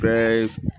Bɛɛ ye